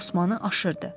Osmanı aşırdı.